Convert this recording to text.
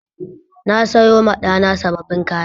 Na sayoma ɗana sabbin kaya